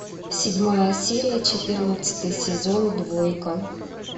седьмая серия четырнадцатый сезон двойка